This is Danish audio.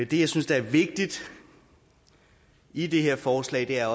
jeg synes der er vigtigt i det her forslag er